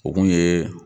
O kun ye